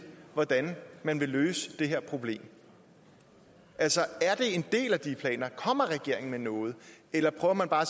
hvordan man vil løse det her problem altså er det en del af de planer og kommer regeringen med noget eller prøver man bare